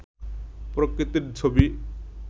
প্রকৃতির ছবি